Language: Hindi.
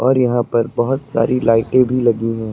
यहां पर बहुत सारी लाइटें भी लगी हैं।